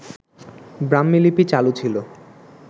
ব্রাহ্মীলিপি চালু ছিল